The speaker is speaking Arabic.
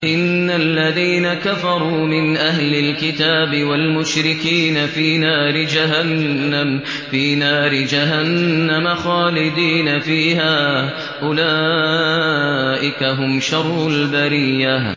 إِنَّ الَّذِينَ كَفَرُوا مِنْ أَهْلِ الْكِتَابِ وَالْمُشْرِكِينَ فِي نَارِ جَهَنَّمَ خَالِدِينَ فِيهَا ۚ أُولَٰئِكَ هُمْ شَرُّ الْبَرِيَّةِ